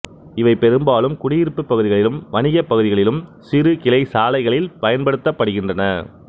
இவை பெரும்பாலும் குடியிருப்புப் பகுதிகளிலும் வணிகப் பகுதிகளிலும் சிறு கிளை சாலைகளில் பயன்படுத்தப்படுகின்றன